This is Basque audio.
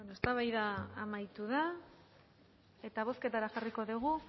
eztabaida amaitu da eta bozketara jarriko dugu